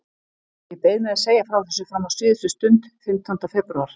Ég beið með að segja frá þessu fram á síðustu stund, fimmtánda febrúar.